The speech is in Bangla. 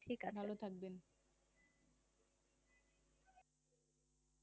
ভালো থাকবেন।